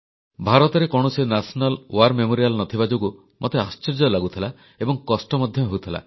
ଭାରତରେ କୌଣସି ରାଷ୍ଟ୍ରୀୟ ଯୁଦ୍ଧ ସ୍ମାରକୀ ନ ଥିବା ଯୋଗୁଁ ମୋତେ ଆଶ୍ଚର୍ଯ୍ୟ ଲାଗୁଥିଲା ଏବଂ କଷ୍ଟ ମଧ୍ୟ ହେଉଥିଲା